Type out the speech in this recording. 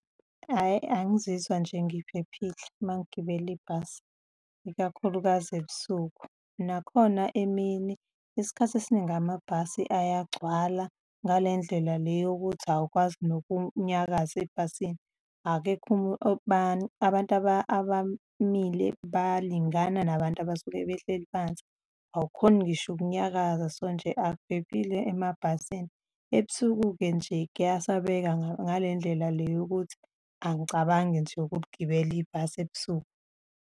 Hhayi, angizizwa nje ngiphephile uma ngigibele ibhasi, ikakhulukazi ebusuku. Nakhona emini, isikhathi esiningi amabhasi ayagcwala ngale ndlela le yokuthi awukwazi nokunyakaza ebhasini, akekho abantu abamile balingana nabantu abasuke behleli phansi. Awukhoni ngisho ukunyakaza, so nje akuphephile emabhasini. Ebusuku-ke nje kuyasabeka ngale ndlela le yokuthi angicabangi nje ukuligibela ibhasi ebusuku.